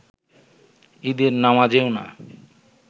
ঈদের নামাজেও না